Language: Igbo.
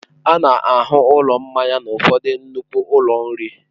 A na-ahụ ụlọ mmanya n'ụfọdụ nnukwu ụlọ nri.